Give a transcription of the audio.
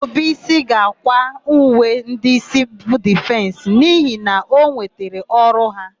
Ndụbụisi ga-àkwá uwe ndị Sịvịl Difensị n'ihi na o nwetara ọrụ ha.